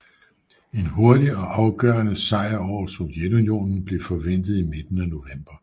En hurtig og afgørende sejr over Sovjetunionen blev forventet i midten af november